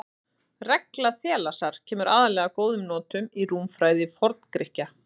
Regla Þalesar kemur aðallega að góðum notum í rúmfræði Forngrikkja.